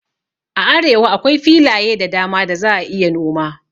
A arewa akwai filaye da dama da za a iya noma